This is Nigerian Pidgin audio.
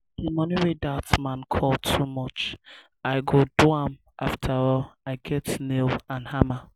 the money wey dat man call too much i go do am afterall i get nail and hammer